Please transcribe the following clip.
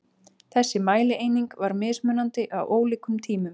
Þessi mælieining var mismunandi á ólíkum tímum.